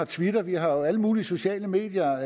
twitter vi har jo alle mulige sociale medier